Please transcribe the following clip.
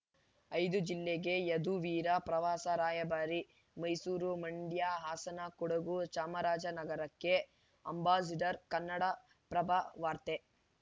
ಐದು ಜಿಲ್ಲೆಗೆ ಯದುವೀರ ಪ್ರವಾಸ ರಾಯಭಾರಿ ಮೈಸೂರು ಮಂಡ್ಯ ಹಾಸನ ಕೊಡಗು ಚಾಮರಾಜ ನಗರಕ್ಕೆ ಅಂಬಾಸಿಡರ್‌ ಕನ್ನಡಪ್ರಭ ವಾರ್ತೆ